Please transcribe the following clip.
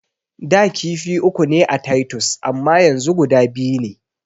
Da kifi uku ne a taytus amma yanzu guda biyu ne.